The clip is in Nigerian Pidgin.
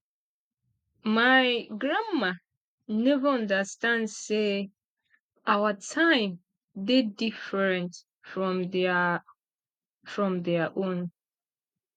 my grandma neva understand sey our time dey different from their from their own